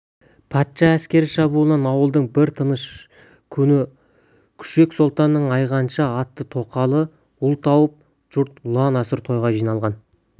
патша әскері шабуылынан ауылдың бір тыныш күні көшек сұлтанның айғанша атты тоқалы ұл тауып жұрт ұлан-асыр тойға жиналған